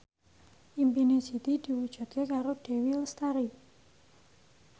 impine Siti diwujudke karo Dewi Lestari